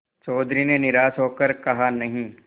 चौधरी ने निराश हो कर कहानहीं